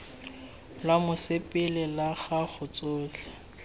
lwa mosepele la gago tsotlhe